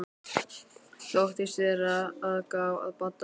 Þóttist vera að gá að Badda.